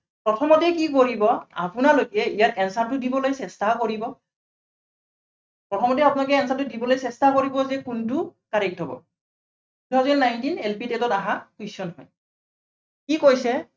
প্ৰথমতেই কি কৰিব, আপোনালোকে ইয়াত answer টো দিবলে চেষ্টা কৰিব। প্ৰথমতে আপোনালোকে answer টো দিবলৈ চেষ্টা কৰিব যে কোনটো correct হব। two thousand nineteen LPTET ত অহা question হয়। কি কৈছে।